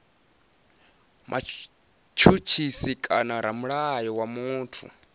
mutshutshisi kana ramulayo wa muthu